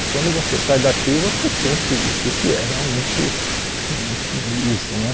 E quando você sai daqui, você sente o que que é realmente isso né.